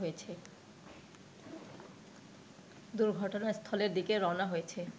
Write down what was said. দুর্ঘটনাস্থলের দিকে রওনা হয়েছে